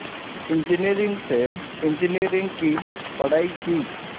engineering से engineering की पढ़ाई की